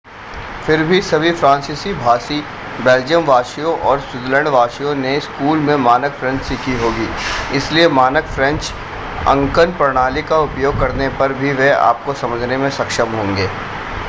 फिर भी सभी फ्रांसीसी-भाषी बेल्जियम वासियों और स्विट्ज़रलैंड वासियों ने स्कूल में मानक फ्रेंच सीखी होगी इसलिए मानक फ्रेंच अंकन प्रणाली का उपयोग करने पर भी वे आपको समझने में सक्षम होंगे